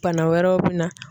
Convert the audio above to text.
Bana wɛrɛw bɛ na.